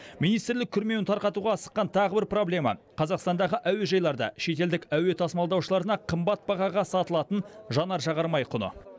министрлік күрмеуін тарқатуға асыққан тағы бір проблема қазақстандағы әуежайларда шетелдік әуе тасымалдаушыларына қымбат бағаға сатылатын жанар жағармай құны